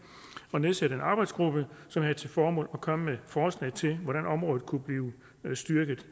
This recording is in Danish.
at nedsætte en arbejdsgruppe som havde til formål at komme med forslag til hvordan området kunne blive styrket